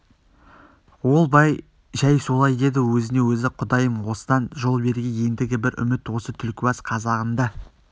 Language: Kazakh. ол бай жай солай деді өзіне-өзі құдайым осыдан жол бергей ендігі бір үміт осы түлкібас қазағында